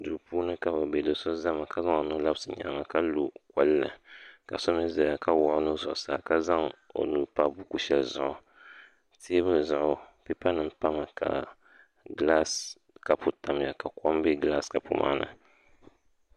Duu puuni ka bɛ be do so zami ka zaŋ o nuhi labisi o nyaaŋa ka lo kpulli ka so mi zaya ka wuɣi o nuhi zuɣusaa ka zaŋ o nuu pa buku shɛli zuɣu teebuli zuɣu pepa pami ka gilaasi kapu tamya ka kom be gilaasi kapu maa ni.